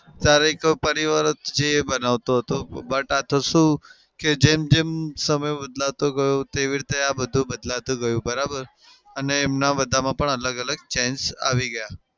ત્યારે એક પરિવાર જ જે બનાવતો હતો. but આતો શું કે જેમ જેમ સમય બદલાતો ગયો તેવી રીતે આ બદલાતું ગયું બરાબર? અમને એમના બધામાં પણ અલગ અલગ change આવી ગયા.